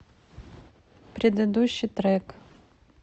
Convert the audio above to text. предыдущий трек